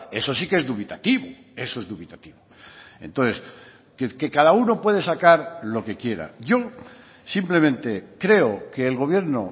eso sí que es dubitativo eso es dubitativo entonces que cada uno puede sacar lo que quiera yo simplemente creo que el gobierno